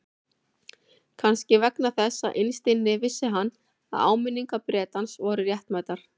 Kannski vegna þess að innst inni vissi hann að áminningar Bretans voru réttmætar.